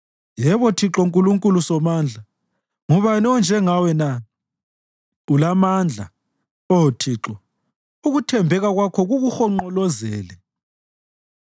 Yebo Thixo Nkulunkulu Somandla, ngubani onjengawe na? Ulamandla, Oh Thixo, ukuthembeka kwakho kukuhonqolozele.